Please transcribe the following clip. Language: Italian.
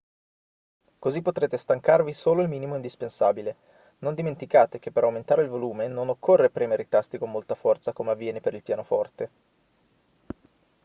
così potrete stancarvi solo il minimo indispensabile non dimenticate che per aumentare il volume non occorre premere i tasti con molta forza come avviene per il pianoforte